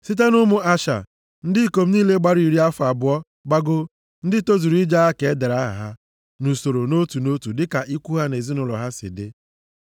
Site nʼụmụ Asha, ndị ikom niile gbara iri afọ abụọ gbagoo, ndị tozuru ije agha ka e dere aha ha nʼusoro nʼotu nʼotu dịka ikwu ha na ezinaụlọ ha si dị.